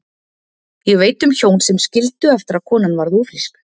Ég veit um hjón sem skildu eftir að konan varð ófrísk.